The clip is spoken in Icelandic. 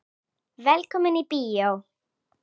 Velkomnir í bíó.